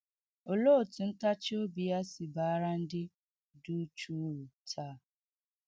Olee otú ntachi obi ya si baara ndị dị uchu uru taa?